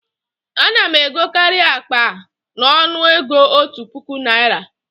A na m egokarị akpa a n'ọnụ ego òtù puku Naịra